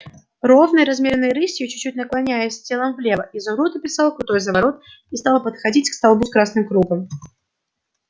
ровной размеренной рысью чуть-чуть наклоняясь телом влево изумруд описал крутой заворот и стал подходить к столбу с красным кругом